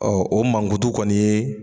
o mankutu kɔni ye